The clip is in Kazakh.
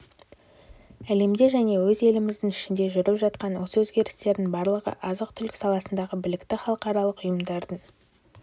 әлемде және өз еліміздің ішінде жүріп жатқан осы өзгерістердің барлығы азық-түлік саласындағы білікті халықаралық ұйымдардың